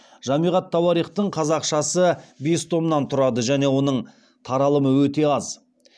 жамиғ ат тауарихтың қазақшасы бес томнан тұрады және оның таралымы өте аз